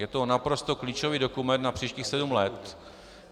Je to naprosto klíčový dokument na příštích sedm let.